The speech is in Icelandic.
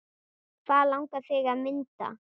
Hvað langar þig að mynda?